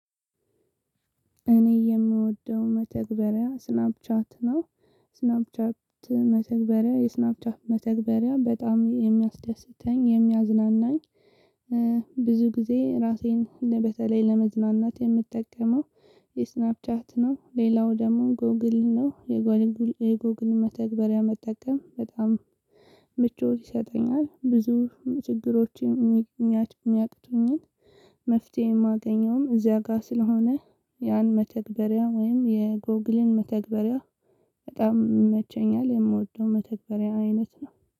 እኔ የምወደው መተግበሪያ ስናፕ ቻት ነው ስናፕ ቻት መተግበሪያ የስናፕቻት መተግበሪያ በጣም የሚያስደስተኝ የሚያዝናናኝ። ብዙ ጊዜ ራሴን በተለይ ለመዝናናት የምጠቀመው የስናፕ ቻት ነው ሌላው ደግሞ ጎግል ነው። የጎግል መተግበሪያ መጠቀም በጣም ምቾት ይሰጠኛል ብዙ ችግሮችን የሚያቅቱኝን። መፍትሄ የማገኘውም እዚያ ጋር ስለሆነ ያን መተግበሪያ ወይም የጎግልን መተግበሪያ በጣም ይመቸኛል። የምወደውም መተግበሪያ አይነት ነው